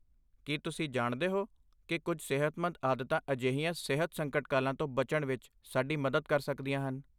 ਕੀ ਤੁਸੀਂ ਜਾਣਦੇ ਹੋ ਕਿ ਕੁਝ ਸਿਹਤਮੰਦ ਆਦਤਾਂ ਅਜਿਹੀਆਂ ਸਿਹਤ ਸੰਕਟਕਾਲਾਂ ਤੋਂ ਬਚਣ ਵਿੱਚ ਸਾਡੀ ਮਦਦ ਕਰ ਸਕਦੀਆਂ ਹਨ?